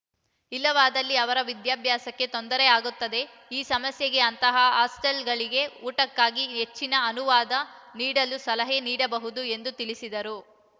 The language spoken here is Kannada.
ಇಲ್ಲವಾದಲ್ಲಿ ಅವರು ವಿದ್ಯಾಭ್ಯಾಸಕ್ಕೆ ತೊಂದರೆ ಆಗುತ್ತದೆ ಈ ಸಮಸ್ಯೆಗೆ ಅಂತಹ ಹಾಸ್ಟೆಲ್‌ಗಳಿಗೆ ಊಟಕ್ಕಾಗಿ ಹೆಚ್ಚಿನ ಅನುವಾದ ನೀಡಲು ಸಲಹೆ ನೀಡಬಹುದು ಎಂದು ತಿಳಿಸಿದರು